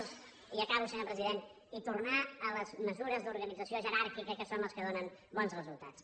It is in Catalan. i acabo senyor president i tornar a les mesures d’organització jeràrquica que són les que donen bons resultats